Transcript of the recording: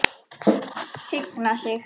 Signa sig?